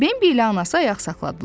Bembi ilə anası ayaq saxladılar.